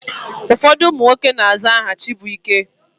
Ụfọdụ ụmụ nwoke na-aza aha Chibuike.